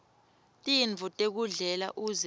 tintfo tekudlela uze